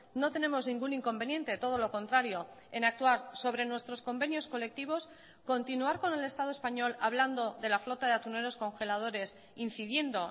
no tenemos ningún inconveniente todo lo contrario en actuar sobre nuestros convenios colectivos continuar con el estado español hablando de la flota de atuneros congeladores incidiendo